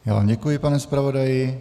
Já vám děkuji, pane zpravodaji.